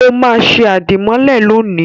Ó máa ṣe àdìmọ́lẹ̀ lónìí.